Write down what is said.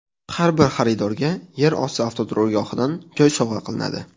Har bir xaridorga yer osti avtoturargohidan joy sovg‘a qilinadi.